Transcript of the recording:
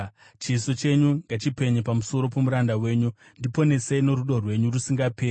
Chiso chenyu ngachipenye pamusoro pomuranda wenyu; ndiponesei norudo rwenyu rusingaperi.